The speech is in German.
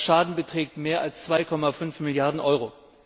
Der Schaden beträgt mehr als 2,5 Milliarden Euro.